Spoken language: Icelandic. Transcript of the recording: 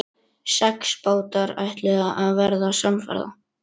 Og hvaðan kom þeim nægjanleg heift?